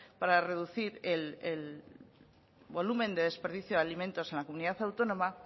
para reducir el volumen de desperdicio de alimentos en la comunidad autónoma